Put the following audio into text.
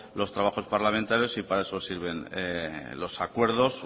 los trabajos parlamentarios y para eso sirven los acuerdos